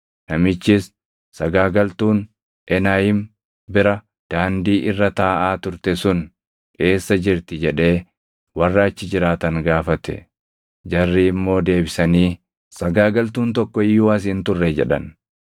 Namichis, “Sagaagaltuun + 38:21 Sagaagaltuun dubartii waaqeffannaa waaqa sobaatiif jettee mana sagadaa keessatti gocha sagaagalummaa hojjettuu dha. Enaayim bira, daandii irra taaʼaa turte sun eessa jirti?” jedhee warra achi jiraatan gaafate. Jarri immoo deebisanii, “Sagaagaltuun tokko iyyuu as hin turre” jedhan.